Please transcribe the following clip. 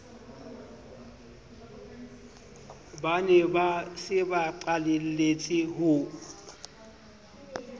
ba ne ba sebaqaleletse ho